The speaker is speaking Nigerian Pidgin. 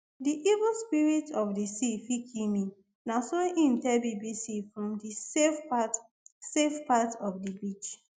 di evil spirits of di sea fit kill me na so im tell bbc from di safe part safe part of di beach